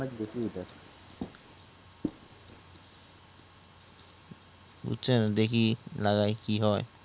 বুঝছেন দেখি লাগাই কি হয়